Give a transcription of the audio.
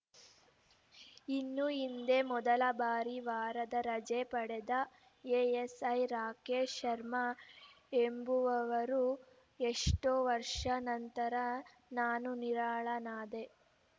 ಇನ್ನು ಇದೇ ಮೊದಲ ಬಾರಿ ವಾರದ ರಜೆ ಪಡೆದ ಎಎಸ್‌ಐ ರಾಕೇಶ್‌ ಶರ್ಮಾ ಎಂಬುವವರು ಎಷ್ಟೋ ವರ್ಷ ನಂತರ ನಾನು ನಿರಾಳನಾದೆ